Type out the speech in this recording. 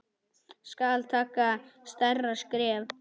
Skal taka stærra skref?